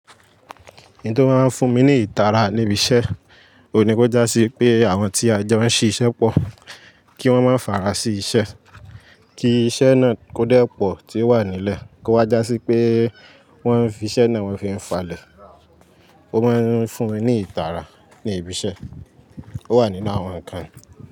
Ǹto máa ń fún mi ní ìtara níbi iṣẹ́, òní kó já sí pé àwọn tí a jẹ́ wọ́n ń ṣe iṣẹ́ pọ̀ kí wọ́n máa farasiṣẹ́, kí iṣẹ́ náà kó dẹ́ pọ̀ tí ó wà nílẹ̀ kó wá já sí pé wọ́n fi iṣẹ́ náà wọ́n fi ń falẹ̀. Ó máa ń fún mi ní ìtara ní ibi iṣẹ́. Ó wà nínú àwọn ǹkan.